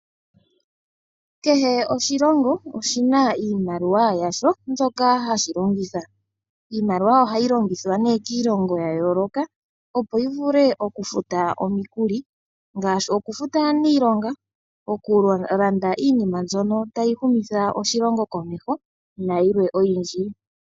Kehe oshilongo oshi na iimaliwa yasho mboka ha shi longitha. Iimaliwa oha yi longithwa ne kiilongo ya yooloka opo yi vule okufuta omikuli ngaashi okufuta aanilonga, okulanda iinima mbyono ta yi humitha oshilongo komeho nayilwe oyindji.